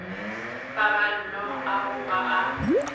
a paballo ao ba a